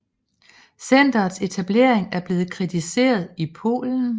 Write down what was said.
Centrets etablering er blevet kritiseret i Polen